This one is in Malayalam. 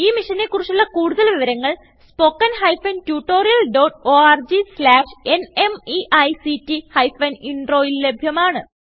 ഈ മിഷനെ കുറിച്ചുള്ള കുടുതൽ വിവരങ്ങൾ spoken hyphen tutorial dot org slash ന്മെയ്ക്ട് ഹൈഫൻ Introൽ ലഭ്യമാണ്